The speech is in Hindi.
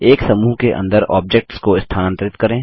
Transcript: एक समूह के अंदर ऑब्जेक्ट्स को स्थानांतरित करें